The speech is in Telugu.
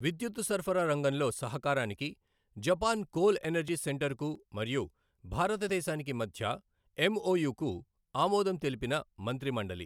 విద్యుత్తు సరఫరా రంగంలో సహకారానికి జపాన్ కోల్ ఎనర్జి సెంటర్ కు మరియు భారతదేశానికి మధ్య ఎంఒయు కు ఆమోదం తెలిపిన మంత్రిమండలి